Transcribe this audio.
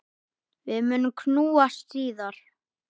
Við munum knúsast síðar.